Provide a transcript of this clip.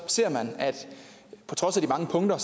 ser man at på trods af de mange punkter